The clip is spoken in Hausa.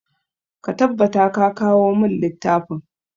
Ka tabbata ka kawo mun littafin!